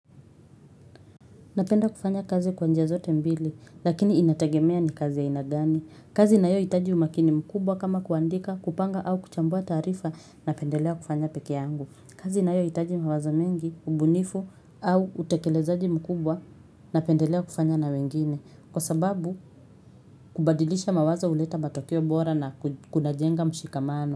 Napenda kufanya kazi kwa njia zote mbili, lakini inategemea ni kazi ya aina gani. Kazi inayohitaji umakini mkubwa kama kuandika, kupanga au kuchambua taarifa napendelea kufanya peke yangu. Kazi inayohitaji mawazo mingi, ubunifu au utekelezaji mkubwa napendelea kufanya na wengine. Kwa sababu, kubadilisha mawazo huleta matokeo bora na kunajenga mshikamano.